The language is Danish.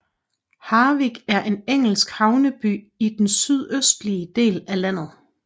Harwich er en engelsk havneby i den sydøstlige del af landet